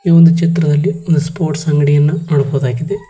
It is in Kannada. ಈ ಒಂದು ಚಿತ್ರದಲ್ಲಿ ಒಂದು ಸ್ಪೋರ್ಟ್ಸ್ ಅಂಗಡಿಯನ್ನ ನೋಡಬಹುದಾಗಿದೆ.